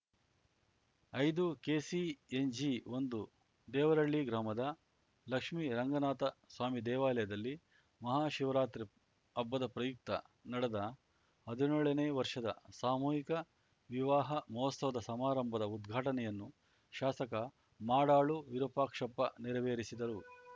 ಐದುಕೆಸಿಎನ್ಜಿಒಂದು ದೇವರಹಳ್ಳಿ ಗ್ರಾಮದ ಲಕ್ಷ್ಮಿ ರಂಗನಾಥ ಸ್ವಾಮಿ ದೇವಾಲಯದಲ್ಲಿ ಮಹಾ ಶಿವರಾತ್ರಿ ಹಬ್ಬದ ಪ್ರಯುಕ್ತ ನಡೆದ ಹದ್ನ್ಯೋಳನೇ ವರ್ಷದ ಸಾಮೂಹಿಕ ವಿವಾಹ ಮಹೋತ್ಸವ ಸಮಾರಂಭದ ಉದ್ಘಾಟನೆಯನ್ನು ಶಾಸಕ ಮಾಡಾಳು ವಿರೂಪಾಕ್ಷಪ್ಪ ನೆರವೇರಿಸಿದರು